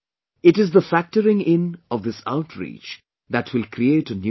It is the factoring in of this outreach that will create a new India